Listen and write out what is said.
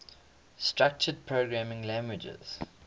structured programming languages